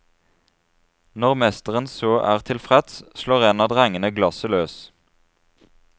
Når mesteren så er tilfreds, slår en av drengene glasset løs.